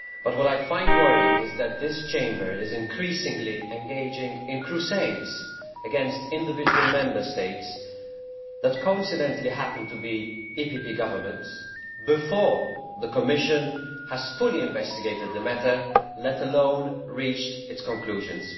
What I find worrying is that this Chamber is increasingly engaging in crusades against individual Member States that coincidentally happen to have EPP governments before the Commission has fully investigated the matter, let alone reached its conclusions.